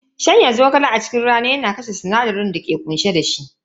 Shanya ganyen zogale a cikin rana yana kashe sinadaran da ke kunshe a ciki.